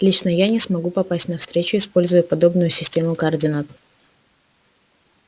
лично я не смогу попасть на встречу используя подобную систему координат